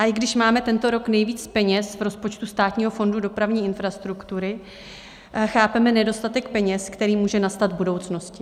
A i když máme tento rok nejvíc peněz v rozpočtu Státního fondu dopravní infrastruktury, chápeme nedostatek peněz, který může nastat v budoucnosti.